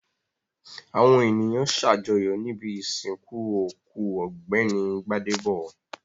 Àwọn ènìyàn ṣàjọyọ̀ níbi ìsìnkú òkú Ọ̀gbẹ́ni Gbádébọ̀.